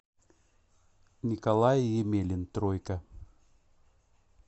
николай емелин тройка